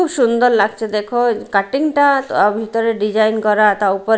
খুব সুন্দর লাগছে দেখ কাটিং -টা ভিতরে ডিজাইন করাটা উপরে--